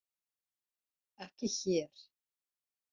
Ekki hér.